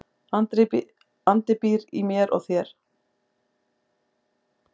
Andi býr í mér og þér.